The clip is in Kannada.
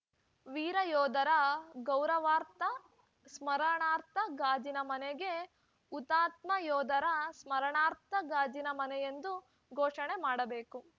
ವೀರ ಯೋಧರ ಗೌರವಾರ್ಥ ಸ್ಮರಣಾರ್ಥ ಗಾಜಿನ ಮನೆಗೆ ಹುತಾತ್ಮ ಯೋಧರ ಸ್ಮರಣಾರ್ಥ ಗಾಜಿನ ಮನೆಯೆಂದು ಘೋಷಣೆ ಮಾಡಬೇಕು